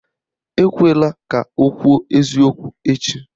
Ekwela ka o kwuo eziokwu echi!